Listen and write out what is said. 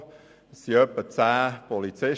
Anwesend waren etwa zehn Polizisten.